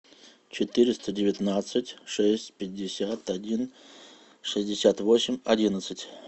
четыреста девятнадцать шесть пятьдесят один шестьдесят восемь одиннадцать